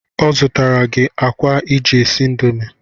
Ọ zụtara gị akwa iji esi indomi